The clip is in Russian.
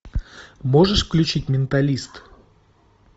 можешь включить менталист